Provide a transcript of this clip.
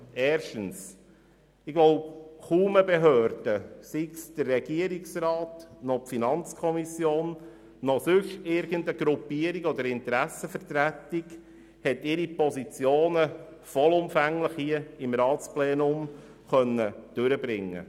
Erstens konnte kaum eine Behörde, sei es der Regierungsrat, sei es die FiKo oder sonst irgendeine Gruppierung oder Interessensvertretung ihre Positionen hier im Ratsplenum vollumfänglich durchbringen.